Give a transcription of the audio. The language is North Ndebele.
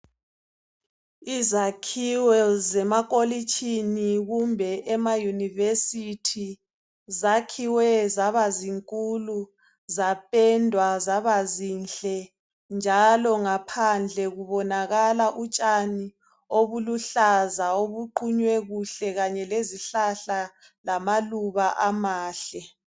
Izakhiwo zemakolitshini kumbe emayunivesithi zakhiwe zaba zinkulu zapendwa zaba zinhle njalo ngaphandle kubonakala utshani obuluhlaza obuqunywe kuhle kanye lezihlahla lamaluba amahle.